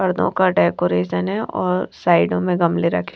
पर्दों का डेकोरेशन है और साइडों में गमले रखें --